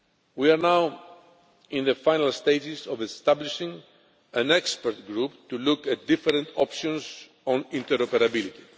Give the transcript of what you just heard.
We are now in the final stages of establishing an expert group to look at different options on interoperability.